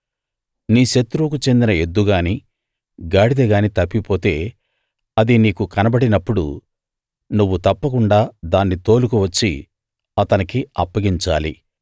నీ శత్రువుకు చెందిన ఎద్దు గానీ గాడిద గానీ తప్పిపోతే అది నీకు కనబడినప్పుడు నువ్వు తప్పకుండా దాన్ని తోలుకు వచ్చి అతనికి అప్పగించాలి